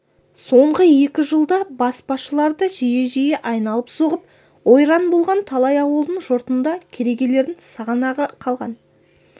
соңғы екі жылда баспашылар да жиі-жиі айналып соғып ойран болған талай ауылдың жұртында керегелердің сағанағы қалған